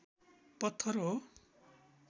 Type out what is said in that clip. पत्थर हो